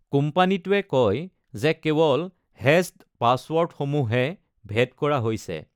কোম্পানীটোৱে কয় যে কেৱল হেচড পাছৱৰ্ডসমূহহে ভেদ কৰা হৈছে।